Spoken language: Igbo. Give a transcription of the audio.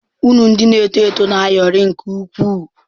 Unu ndị na-eto eto na-ayọrị nke ukwuu.